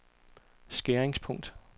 skæringspunkt